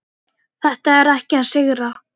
Þetta er ekki að sigra.